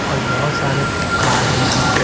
और बहुत सारे कार यहां पे।